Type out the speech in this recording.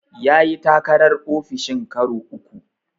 Ya yi takarar ofishin karo uku.